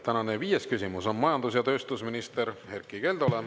Tänane viies küsimus on majandus- ja tööstusminister Erkki Keldole.